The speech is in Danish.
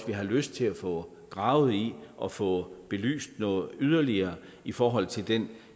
vi har lyst til at få gravet i og få belyst yderligere i forhold til den